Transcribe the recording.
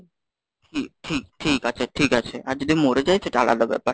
ঠিক ঠিক আছে ঠিক আছে, আর যদি মরে যাই সেটা আলাদা ব্যাপার।